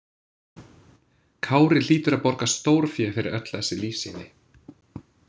Kári hlýtur að borga stórfé fyrir öll þessi lífsýni.